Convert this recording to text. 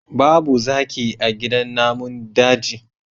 Babu zaki a gidan namun daji